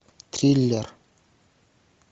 триллер